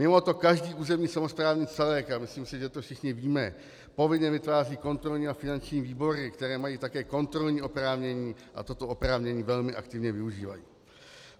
Mimoto každý územní samosprávný celek, a myslím si, že to všichni víme, povinně vytváří kontrolní a finanční výbory, které mají také kontrolní oprávnění a toto oprávnění velmi aktivně využívají.